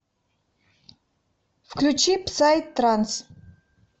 включи псай транс